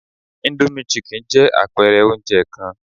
Indomie chicken jẹ́ àpẹ̀ẹrẹ oúnjẹ kan